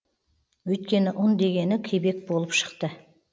өйткені ұн дегені кебек болып шықты